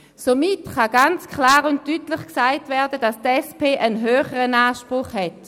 Somit kann ganz klar und deutlich gesagt werden, dass die SP einen höheren Anspruch hat.